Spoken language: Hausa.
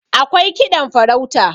akwai kiɗan farauta